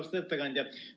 Austatud ettekandja!